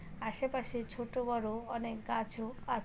আশেপাশের ছোট বড় অনেক গাছও আ--